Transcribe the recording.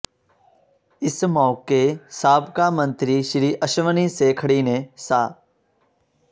ਇਸ ਮੌਕੇ ਸਾਬਕਾ ਮੰਤਰੀ ਸ੍ਰੀ ਅਸ਼ਵਨੀ ਸੇਖੜੀ ਨੇ ਸ